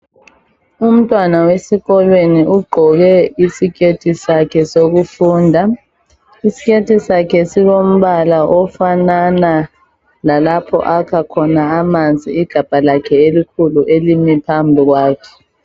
Umntwana wesikolweni ugqoke isiketi sakhe sokufunda, isikethi sakhe silombala ofanana legabha lalapha akha khona amanzi igabha lakhe elikhulu elimi phambi kwakhe.